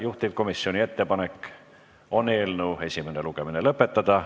Juhtivkomisjoni ettepanek on eelnõu esimene lugemine lõpetada.